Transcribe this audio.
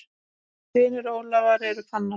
Synir Ólafar eru Fannar.